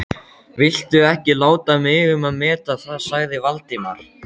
Viltu ekki láta mig um að meta það sagði Valdimar.